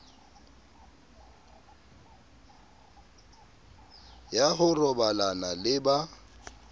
ya ho robalana le ba